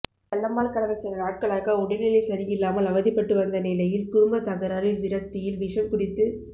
செல்லம்மாள் கடந்த சில நாட்களாக உடல்நிலை சரியில்லாமல் அவதிப்பட்டு வந்த நிலையில் குடும்பத் தகராறில் விரக்தியில் விஷம் குடித்து